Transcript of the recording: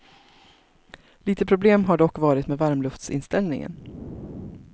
Lite problem har dock varit med varmluftsinställningen.